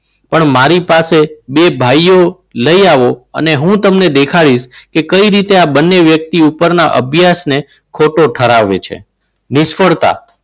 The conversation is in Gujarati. પણ મારી પાસે બે ભાઈઓ લઈ આવો અને હું તમને દેખાડીશ કે કઈ રીતે આ બંને વ્યક્તિ પણ ના અભ્યાસને ખોટો ઠરાવે છે. નિષ્ફળતા